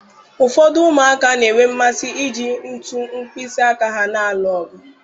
Ụfọdụ ụmụaka na-enwe mmasị iji ntu mkpịsị aka ha na-alụ ọgụ